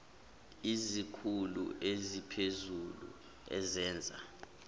izikhulu eziphezulu ezenza